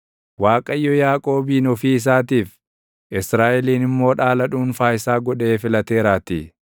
Waaqayyo Yaaqoobin ofii isaatiif, Israaʼelin immoo dhaala dhuunfaa isaa godhee filateeraatii.